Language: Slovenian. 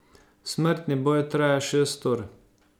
Smrtni boj traja šest ur.